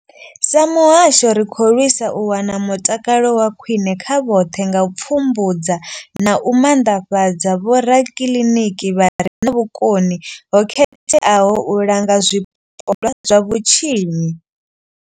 Sa muhasho, ri khou lwisa u wana mutakalo wa khwine kha vhoṱhe nga u pfumbudza na u maanḓafhadza vhorakiliniki vha re na vhukoni ho khetheaho u langa zwipondwa zwa vhutshinyi.